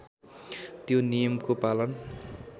त्यो नियमको पालन